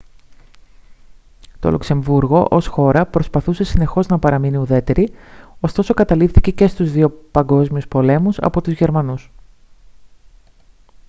το λουξεμβούργο ως χώρα προσπαθούσε συνεχώς να παραμείνει ουδέτερη ωστόσο καταλήφθηκε και στους δύο παγκόσμιους πολέμους από τους γερμανούς